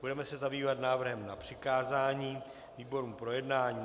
Budeme se zabývat návrhem na přikázání výborům k projednání.